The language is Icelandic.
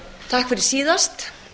takk fyrir síðast